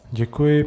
Děkuji.